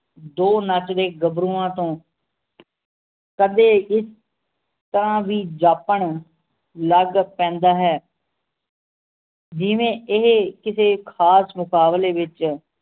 ਦੋ ਨੱਚਦੇ ਗੱਭਰੂਆਂ ਤੋਂ ਕਦੇ ਇਸ ਤਰਾਹ ਵੀ ਜਾਪਣ ਲੱਗ ਪੈਂਦਾ ਹੈ ਜਿਵੇਂ ਇਹ ਕਿਸੇ ਖਾਸ ਮੁਕਾਬਲੇ ਵਿਚ